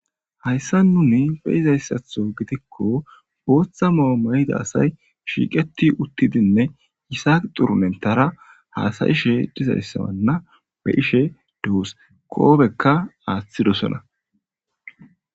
hayssa nuni be izayssatho gidikko booththa maomayiga asay shiiqeti uttidinne yisaaq xurumentara haasayishe dizayssawanna be ishe duus koobekka aaththidosona.